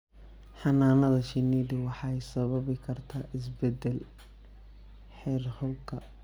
Xannaanada shinnidu waxay sababi kartaa isbeddel heerkulka.